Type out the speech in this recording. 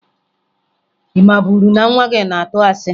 Ị maburu na nwa gị na-atụ asị?